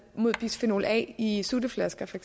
mod bisfenol a i i sutteflasker for